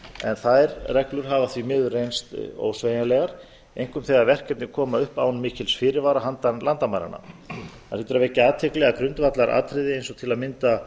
löndunum en þær reglur hafa því miður reynst ósveigjanlegar einkum þegar verkefni koma upp án mikils fyrirvara handan landamæranna það hlýtur að vekja athygli að til að mynda grundvallaratriði eins og til að mynda